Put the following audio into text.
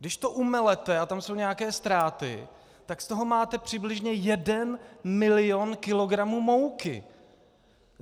Když to umelete, a tam jsou nějaké ztráty, tak z toho máte přibližně jeden milion kilogramů mouky.